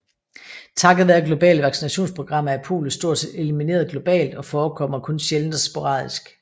Takket være globale vaccinationsprogrammer er polio stort set elimineret globalt og forekommer kun sjældent og sporadisk